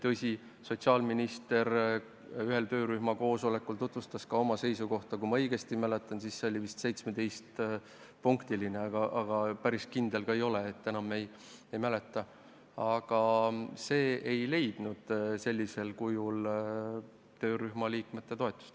Tõsi, sotsiaalminister tutvustas ühel töörühma koosolekul ka oma seisukohta – kui ma õigesti mäletan, siis hõlmas see vist 17 punkti, aga päris kindel ma ei ole, enam ei mäleta –, kuid see ei leidnud sellisel kujul töörühma liikmete toetust.